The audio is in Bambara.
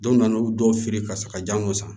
Don na n'u dɔw fili ka sɔrɔ ka janko san